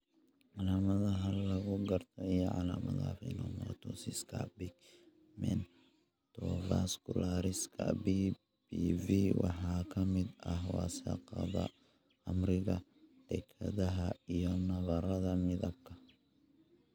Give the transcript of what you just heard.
Calaamadaha lagu garto iyo calaamadaha phacomatosiska pigmentovascularis (PPV), waxaa ka mid ah wasakhda khamriga dekedda iyo nabarrada midabka.